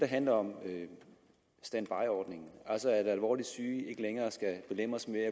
handler om standbyordningen altså at alvorligt syge ikke længere skal belemres med